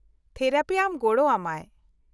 -Therapy ᱟᱢ ᱜᱚᱲᱚ ᱟᱢᱟᱭ ᱾